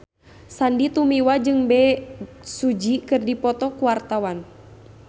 Sandy Tumiwa jeung Bae Su Ji keur dipoto ku wartawan